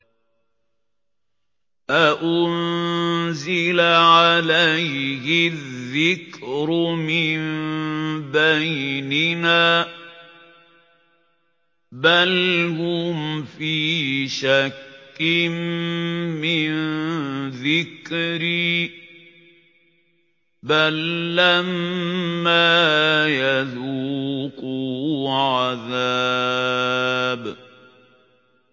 أَأُنزِلَ عَلَيْهِ الذِّكْرُ مِن بَيْنِنَا ۚ بَلْ هُمْ فِي شَكٍّ مِّن ذِكْرِي ۖ بَل لَّمَّا يَذُوقُوا عَذَابِ